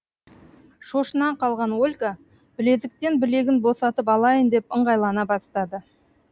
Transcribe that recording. шошына қалған ольга білезіктен білегін босатып алайын деп ыңғайлана бастады